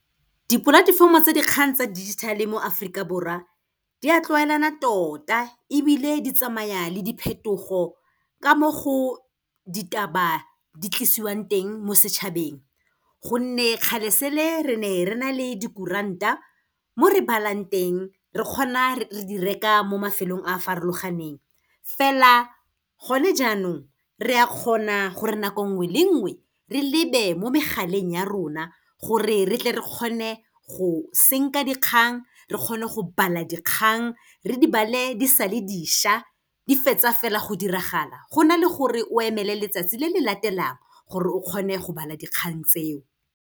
Dipolatefomo tsa dikgang tsa digital-e mo Aforika Borwa, di a tlwaelana tota, ebile di tsamaya le diphetogo ka mo go ditaba di tlisiwang teng mo setšhabeng, gonne kgale se le, re ne re na le dikuranta mo re balang teng, re kgona re di reka mo mafelong a farologaneng. Fela gone jaanong, re a kgona gore nako nngwe le nngwe, re lebe mo megaleng ya rona gore re tle re kgone go senka dikgang, re kgone go bala dikgang, re di bale di sa le dišwa, di fetsa fela go diragala, go na le gore o emele letsatsi le le latelang gore o kgone go bala dikgang tseo.